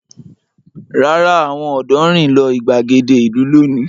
Rárá, àwọn ọ̀dọ́ rìn lọ ìgbàgede ìlú lónìí.